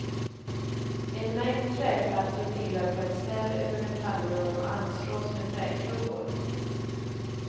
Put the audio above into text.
En mängd träplattor vilar på ett ställ över metallrör och anslås med träklubbor.